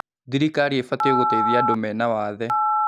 Thirikari ĩbatiĩ gũteithia andũ mena wathe.